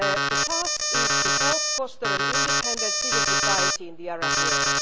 The task is to help foster an independent civil society in the Arab world.